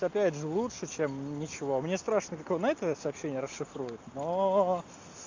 опять же лучше чем ничего мне страшно как он это сообщение расшифрует но